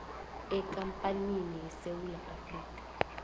ekampanini yesewula afrika